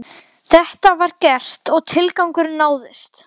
Ég hef gegnt tveimur störfum og fimm mismunandi þjóðernum.